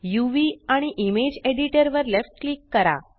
uvइमेज editor वर left click करा